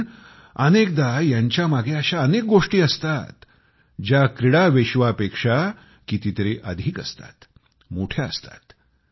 पण अनेकदा यांच्यामागे अनेक अशा गोष्टी असतात ज्या क्रीडा विश्वापेक्षा कितीतरी अधिक असतात मोठ्या असतात